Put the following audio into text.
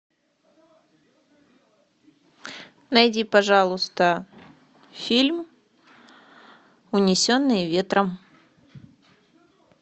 найди пожалуйста фильм унесенные ветром